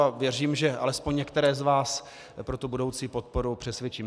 A věřím, že alespoň některé z vás pro tu budoucí podporu přesvědčím.